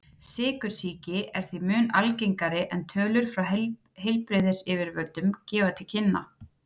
Sykursýki er því mun algengari en tölur frá heilbrigðisyfirvöldum gefa til kynna.